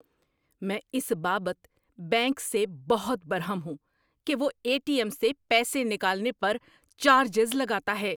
میں اس بابت بینک سے بہت برہم ہوں کہ وہ اے ٹی ایم سے پیسے نکالنے پر چارجز لگاتا ہے۔